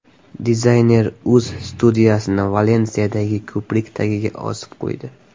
Dizayner o‘z studiyasini Valensiyadagi ko‘prik tagiga osib qo‘ydi .